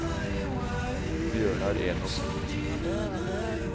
Bjørnar Enoksen